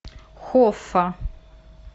хоффа